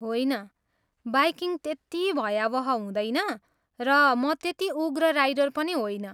होइन, बाइकिङ त्यति भयावह हुँदैन र म त्यति उग्र राइडर पनि होइन।